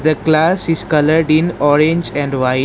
The class is coloured in orange and white.